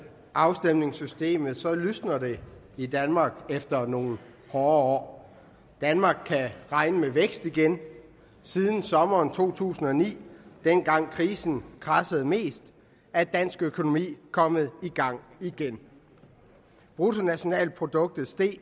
afstemningssystemet lysner det i danmark efter nogle hårde år danmark kan regne med vækst igen siden sommeren to tusind og ni dengang krisen kradsede mest er dansk økonomi kommet i gang igen bruttonationalproduktet steg